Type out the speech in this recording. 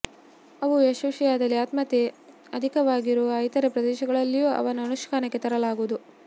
ಅವು ಯಶಸ್ವಿಯಾದಲ್ಲಿ ಆತ್ಮಹತ್ಯೆ ಅಧಿಕವಾಗಿರುವ ಇತರೆ ಪ್ರದೇಶಗಳಲ್ಲೂ ಅವನ್ನು ಅನುಷ್ಠಾನಕ್ಕೆ ತರಲಾಗುವುದು